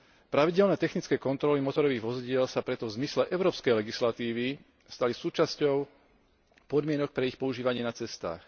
Pravidelné technické kontroly motorových vozidiel sa preto v zmysle európskej legislatívy stali súčasťou podmienok pre ich používanie na cestách.